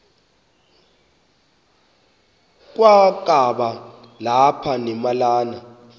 kwakaba lapha nemalana